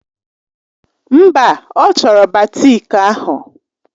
Mba, ọ chọrọ batiki ahụ.